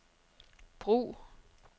brug